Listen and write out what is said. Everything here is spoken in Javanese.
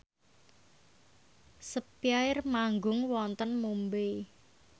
spyair manggung wonten Mumbai